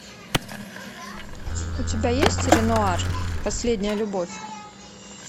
у тебя есть ренуар последняя любовь